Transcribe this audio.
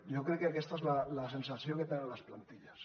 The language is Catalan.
jo crec que aquesta és la sensació que tenen les plantilles